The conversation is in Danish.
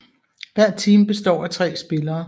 Hvert team består af 3 spillere